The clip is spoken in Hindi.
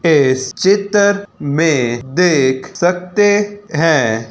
इस चितर में देख सकते हैं।